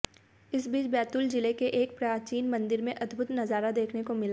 इस बीच बैतूल जिले के एक प्राचीन मंदिर में अद्भुत नजारा देखने को मिला